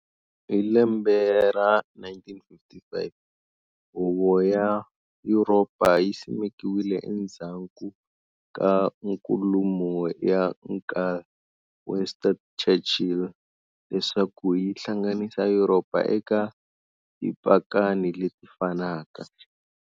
Hilembe ra 1955, Huvo ya Yuropa yi simekiwile endzaku ka nkulumo ya Nkul, Winston Churchill, leswaku yihlanganisa Yuropa eka tipakani leti fanaka.